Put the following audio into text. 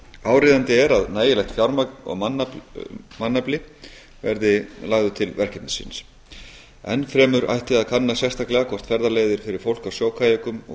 áríðandi er að nægilegt fjármagn og mannafli verði lagður til verkefnisins enn fremur ætti að kanna sérstaklega hvort ferðaleiðir fyrir fólk á sjókajökum og